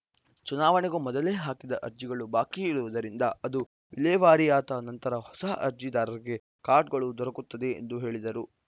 ಚುನಾವಣೆಗೂ ಮೊದಲೇ ಹಾಕಿದ ಅರ್ಜಿಗಳು ಬಾಕಿ ಇರುವುದರಿಂದ ಅದು ವಿಲೇವಾರಿಯಾದ ನಂತರ ಹೊಸ ಅರ್ಜಿದಾರರಿಗೆ ಕಾರ್ಡ್‌ಗಳು ದೊರಕುತ್ತದೆ ಎಂದು ಹೇಳಿದರು